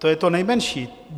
To je to nejmenší.